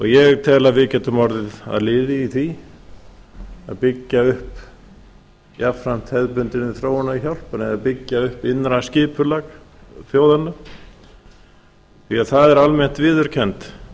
ég tel að við getum orðið að liði í því að byggja upp jafnframt hefðbundinni þróunarhjálp að byggja upp innra skipulag þjóðanna því að það er almennt viðurkennt